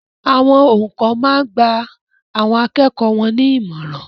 Awon oùkọ́ máa n gba àwọn akẹ́kọ̀ọ́ won ní ìmọ̀ràn